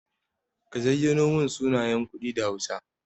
Ka zayyano min sunayen kuɗi da hausa.